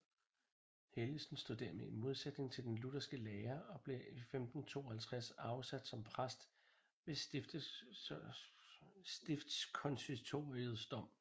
Helgesen stod dermed i modsætning til den lutherske lære og blev 1552 afsat som præst ved stiftskonsistoriets dom